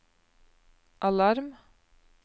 alarm